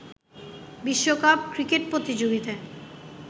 বিশ্বকাপ ক্রিকেট প্রতিযোগিতায়